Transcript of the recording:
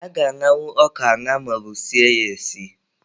A ga-aṅanwu ọka aṅa maọbu sie ya esi.